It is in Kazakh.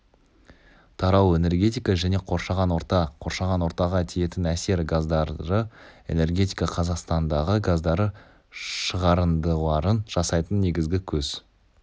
тарау энергетика және қоршаған орта қоршаған ортаға тиетін әсер газдары энергетика қазақстандағы газдары шығарындыларын жасайтын негізгі көз